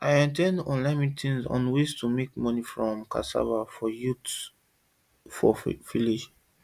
i at ten d online meeting on ways to take make money from cassava for youth for village